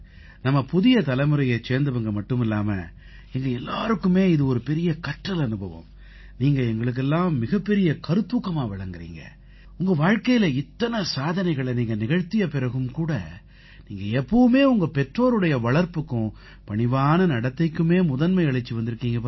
நம்ம புதிய தலைமுறையைச் சேர்ந்தவங்க மட்டுமில்லாம எங்க எல்லாருக்குமே இது ஒரு பெரிய கற்றல் அனுபவம் நீங்க எங்களுக்கெல்லாம் மிகப்பெரிய கருத்தூக்கமா விளங்கறீங்க உங்க வாழ்க்கையில இத்தனை சாதனைகளை நீங்க நிகழ்த்திய பிறகும் கூட நீங்க எப்பவுமே உங்க பெற்றோருடைய வளர்ப்புக்கும் பணிவான நடத்தைக்குமே முதன்மை அளிச்சு வந்திருக்கீங்க